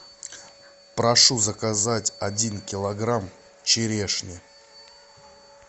прошу заказать один килограмм черешни